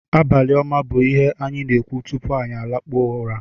Abalị ọma bụ ihe anyị na-ekwu tupu anyị alakpuo ụra